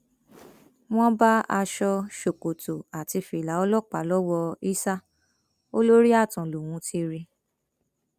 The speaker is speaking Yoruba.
wọn bá aṣọ ṣòkòtò àti fìlà ọlọpàá lọwọ issa o lórí ààtàn lòún ti rí i